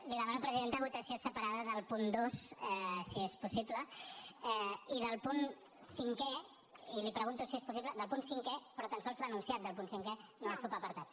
li demano presidenta votació separada del punt dos si és possible i del punt cinquè i li pregunto si és possible del punt cinquè però tan sols l’enunciat del punt cinquè no els subapartats